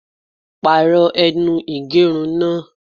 Pàrọ̀ ẹnu ìgẹrun náà!